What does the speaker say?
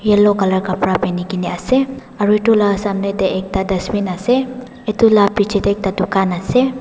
yellow colour kapra peheni ke na ase aru etu lah samne teh ekta dustbin ase etu lah picche teh ekta dukan ase.